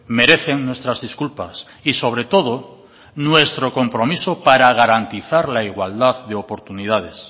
merecen nuestras disculpas y sobre todo nuestro compromiso para garantizar la igualdad de oportunidades